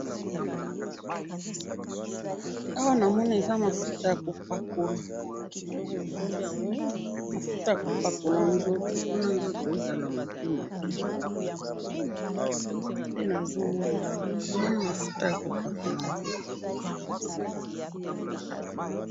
awa na moni eza mafuta yako pakola, mafuta yako pakola nzoto po na nzoto ezaka muke muke nde nazo mona awa namoni mafuta yako pakola nzoto